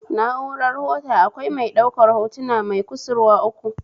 Na'urar hota akwai mai ɗaukar hotuna mai kusurwa uku